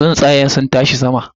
Tsuntsayen sun tashi sama.